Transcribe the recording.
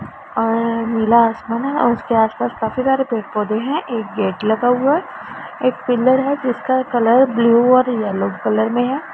और नीला आसमान है और उसके आस पास काफी सारे पेड़ पौधे हैं एक गेट लगा हुआ एक पिलर है जिसका कलर ब्लू और येलो कल में है।